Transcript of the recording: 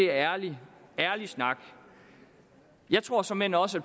ærlig snak jeg tror såmænd også at